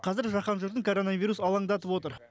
қазір жаһан жұртын коронавирус алаңдатып отыр